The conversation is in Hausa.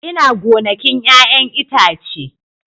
Ina gonakin 'ya'yan itace